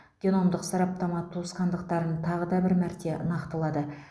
геномдық сараптама туыстықтарын тағы да бір мәрте нақтылады